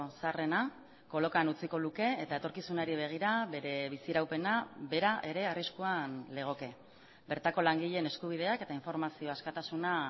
zaharrena kolokan utziko luke eta etorkizunari begira bere biziraupena bera ere arriskuan legoke bertako langileen eskubideak eta informazio askatasuna